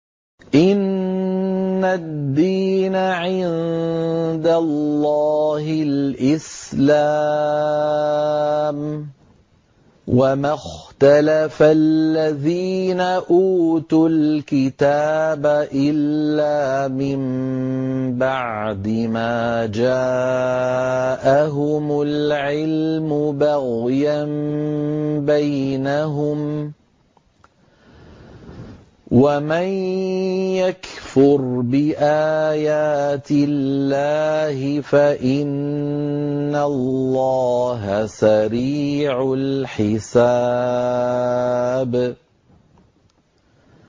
إِنَّ الدِّينَ عِندَ اللَّهِ الْإِسْلَامُ ۗ وَمَا اخْتَلَفَ الَّذِينَ أُوتُوا الْكِتَابَ إِلَّا مِن بَعْدِ مَا جَاءَهُمُ الْعِلْمُ بَغْيًا بَيْنَهُمْ ۗ وَمَن يَكْفُرْ بِآيَاتِ اللَّهِ فَإِنَّ اللَّهَ سَرِيعُ الْحِسَابِ